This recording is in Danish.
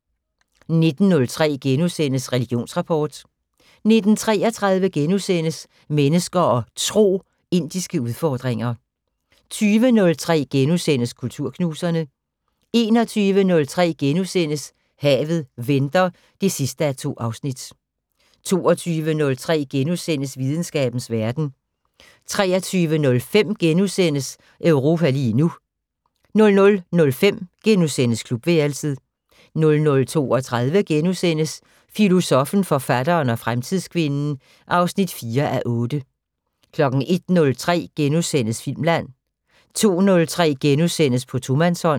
19:03: Religionsrapport * 19:33: Mennesker og Tro: Indiske udfordringer * 20:03: Kulturknuserne * 21:03: Havet venter (2:2)* 22:03: Videnskabens Verden * 23:05: Europa lige nu * 00:05: Klubværelset * 00:32: Filosoffen, forfatteren og fremtidskvinden (4:8)* 01:03: Filmland * 02:03: På tomandshånd *